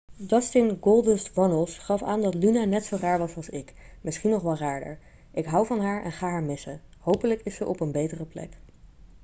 dustin goldust' runnels gaf aan dat luna net zo raar was als ik misschien nog wel raarder ik hou van haar en ga haar missen hopelijk is ze op een betere plek'